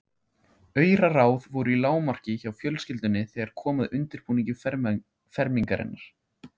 Auraráð voru í lágmarki hjá fjölskyldunni þegar kom að undirbúningi fermingarinnar.